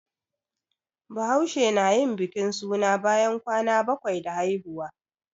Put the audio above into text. Bahaushe na yin bikin suna bayan kwana bakwai da haihuwa